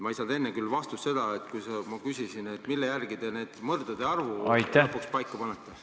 Ma ei saanud enne küll vastust sellele, mille järgi te mõrdade arvu lõpuks paika panete.